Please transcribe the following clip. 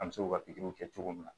An bɛ se k'u ka pikiriw kɛ cogo min na